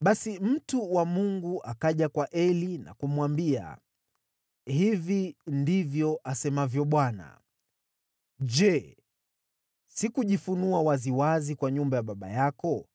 Basi mtu wa Mungu akaja kwa Eli na kumwambia, “Hivi ndivyo asemavyo Bwana : ‘Je, sikujifunua waziwazi kwa nyumba ya baba yako